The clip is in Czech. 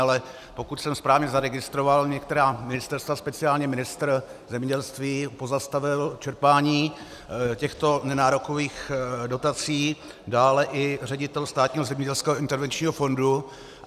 Ale pokud jsem správně zaregistroval, některá ministerstva, speciálně ministr zemědělství pozastavil čerpání těchto nenárokových dotací, dále i ředitel Státního zemědělského intervenčního fondu.